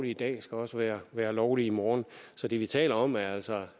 i dag skal også være være lovligt i morgen så det vi taler om er altså